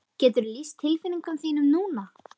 Geturðu lýst tilfinningum þínum núna?